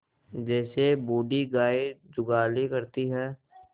जैसे बूढ़ी गाय जुगाली करती है